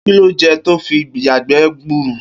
Kí lo je̩ to fi ń yàgbé̩ gburu?